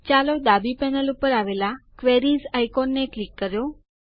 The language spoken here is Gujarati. ચાલો ડાબી પેનલ ઉપર આવેલાં ક્વેરીઝ આઇકોનને ક્લિક કરો